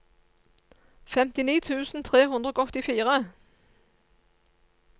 femtini tusen tre hundre og åttifire